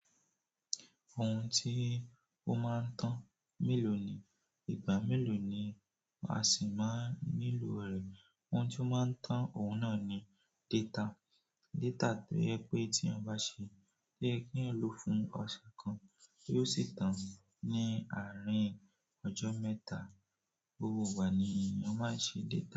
Ohun tí ó máa ń tán mélòó ni ìgbà mélòó ni a sì máa nílò rẹ̀. Ohun tí ó máa ń tán òun náà ni data. Data tó jẹ pé tí ẹyan bá ṣe pé to ye ki eyań lò fún ọ̀sẹ̀ kan, yóò sì tán ní àárín ọjọ́ mẹ́ta. Gbogbo ìgbà ni èèyàn máa ń ṣe data.